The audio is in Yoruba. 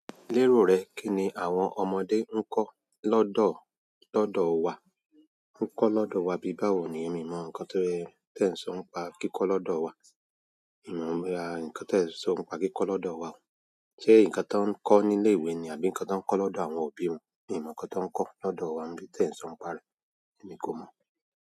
Lérò rẹ, kí ni àwọn ọmọdé ń kọ́ lọ́dọ̀, lọ́dọ̀ wa? Ǹ kọ́ lọ́dọ̀ wa bíbáwo ni, èmi o mọ ǹkan tí ẹ ń sọ ń pa kíkọ́ lọ́dọ̀ wa. Mi ò mọ̀ ara ǹkan tí ẹ ń sọ ń pa kíkọ́ lọ́dọ̀ wa. Ṣé ǹkan ti woń kọ́ ní ilé ìwé ni àbí ǹkan ti woń kọ́ lọ́dọ̀ àwọn òbí wọn? Mi ò mọ ǹkan ti woń kọ́ lọ́dọ̀ wa bí tí ẹ ń sọ ń pa rẹ̀. Èmi kò mọ̀.